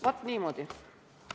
Vaat niimoodi!